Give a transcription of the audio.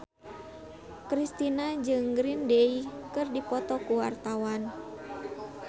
Kristina jeung Green Day keur dipoto ku wartawan